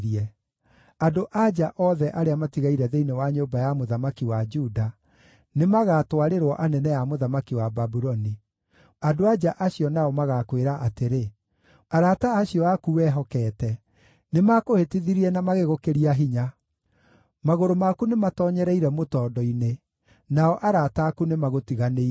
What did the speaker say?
Andũ-a-nja othe arĩa matigaire thĩinĩ wa nyũmba ya mũthamaki wa Juda nĩmagatwarĩrwo anene a mũthamaki wa Babuloni. Andũ-a-nja acio nao magaakwĩra atĩrĩ: “ ‘Arata acio aku wehokeete nĩmakũhĩtithirie na magĩgũkĩria hinya. Magũrũ maku nĩmatoonyereire mũtondo-inĩ; nao arata aku nĩmagũtiganĩirie.’